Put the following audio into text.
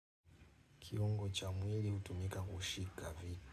Kiungo cha mwili utumika kushika vitu.